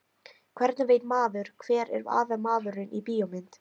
Hvernig veit maður hver er aðalmaðurinn í bíómynd?